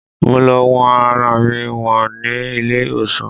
Mo lọ wọn ara mi wò ní ilé-ìwòsàn